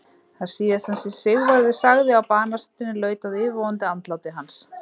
Það síðasta sem Sigvarður sagði á banastundinni laut að yfirvofandi andláti hans.